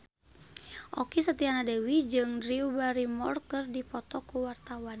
Okky Setiana Dewi jeung Drew Barrymore keur dipoto ku wartawan